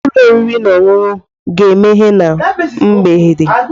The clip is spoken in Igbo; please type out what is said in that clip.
Ee, ụlọ oriri na ọṅụṅụ ga-emeghe na mgbede.